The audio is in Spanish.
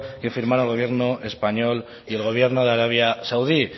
que firmaron el gobierno español y el gobierno de arabia saudí